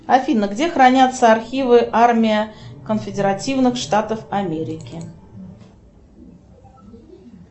афина где хранятся архивы армия конфедеративных штатов америки